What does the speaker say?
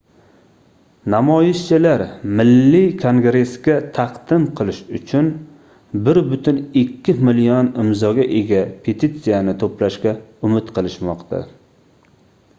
namoyishchilar milliy kongressga taqdim qilish uchun 1,2 million imzoga ega petitsiyani toʻplashga umid qilishmoqda